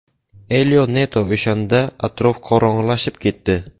Elio Neto O‘shanda atrof qorong‘ilashib ketdi.